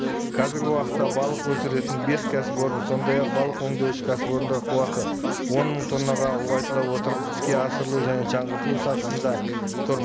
қазіргі уақытта балық өсіретін бес кәсіпорын сондай ақ балық өндеуші кәсіпорындар қуаты он мың тоннаға ұлғайтыла отырып іске асырылу және жаңғыртылу сатысында тұр